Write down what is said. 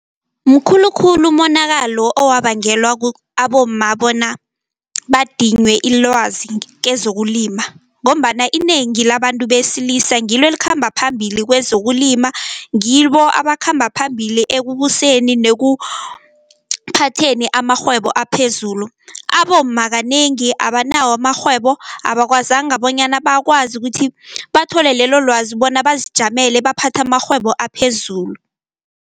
Mkhulukhulu umonakalo owabangelwa abomma bona badinywe ilwazi kezokulima, ngombana inengi labantu besilisa ngilo elikhamba phambili kwezokulima, ngibo abakhamba phambili ekubuseni nekuthatheni amarhwebo aphezulu. Abomma kanengi abanawo amarhwebo abakwazanga bonyana bakwazi ukuthi bathole lelo lwazi bona bazijamele baphathe amarhwebo aphezulu.